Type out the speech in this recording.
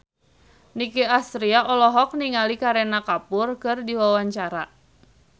Nicky Astria olohok ningali Kareena Kapoor keur diwawancara